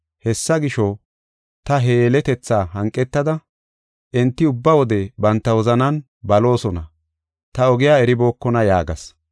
Hessa gisho, ta he yeletethaa hanqetada, ‘Enti ubba wode banta wozanan baloosona; ta ogiya eribookona’ yaagas.